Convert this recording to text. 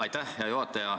Aitäh, hea juhataja!